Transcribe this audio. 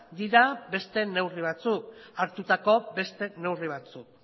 dira beste neurri batzuk